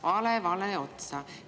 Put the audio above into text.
Vale vale otsa!